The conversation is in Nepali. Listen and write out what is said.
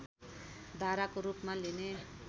धाराको रूपमा लिने